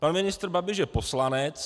Pan ministr Babiš je poslanec.